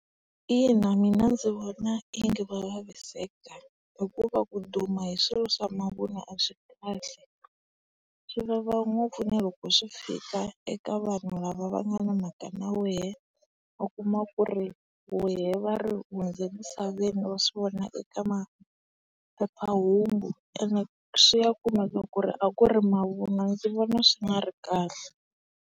Ina mina ndzi vona onge va vaviseka hikuva ku duma hi swilo swa mavun'wa a swi kahle, swivava ngopfu na loko swi fika eka eka vanhu lava vangana mhaka na wehe. U kuma ku ri wehe va ri u hundze misaveni va swivona eka maphephahungu ene swi ya kuma ku ri a ku ri mavun'wa ndzi vona swi nga ri kahle.